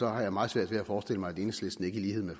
har meget svært ved at forestille mig at enhedslisten ikke i lighed med